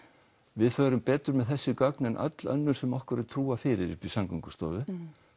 við förum betur með þessi gögn en öll önnur sem okkur er trúað fyrir uppi í Samgöngustofu